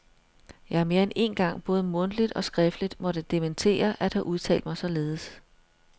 Jeg har mere end én gang både mundtligt og skriftligt måtte dementere at have udtalt mig således.